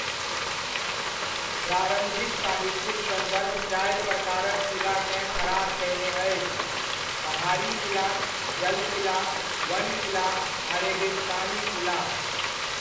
प्रारम्भिक साहित्यिक सन्दर्भ चारि प्रकारक किलाकेँ फराक कयने अछि, ' पहाड़ी किला, जल किला, वन किला आ रेगिस्तानी किला' ।